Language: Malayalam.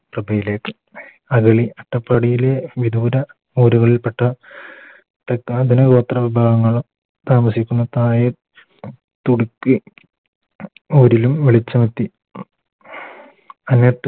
യിലേക്ക് അട്ടപ്പാടിയിലെ വിദൂര കാടുകളിൽ പെട്ട ഇതര ഗോത്ര വിഭാഗങ്ങള് താമസിക്കുന്ന പായ വിളിച്ചുണർത്തി